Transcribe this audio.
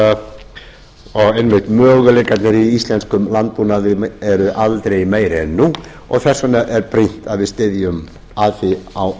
og einmitt möguleikarnir í íslenskum landbúnaði eru aldrei meiri en nú þess vegna er brýnt að við styðjum að því á